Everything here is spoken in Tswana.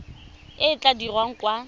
e e tla dirwang kwa